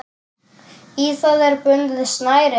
Í það er bundið snæri.